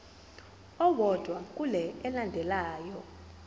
owodwa kule elandelayo